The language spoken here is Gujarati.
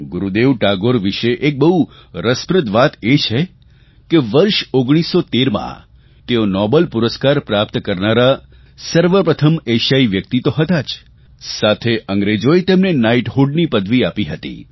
ગુરૂદેવ ટાગોર વિશે એક બહુ રસપ્રદ વાત એ છે કે વર્ષ 1913માં તેઓ નોબેલ પુરસ્કાર પ્રાપ્ત કરનારના સર્વપ્રથમ એશિયાઇ વ્યક્તિ તો હતા જ સાથે અંગ્રેજોએ તેમને નાઇટહુડની પદવી આપી હતી